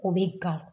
O bɛ gawo